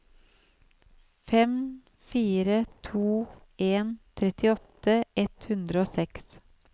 fem fire to en trettiåtte ett hundre og seks